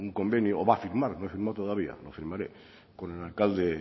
convenio o a firmar no todavía lo firmaré con el alcalde